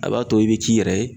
A b'a to i bɛ k'i yɛrɛ ye.